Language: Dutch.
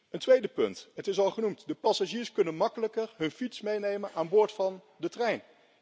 Een tweede punt dat al is genoemd de passagiers kunnen makkelijker hun fiets meenemen aan boord van de trein.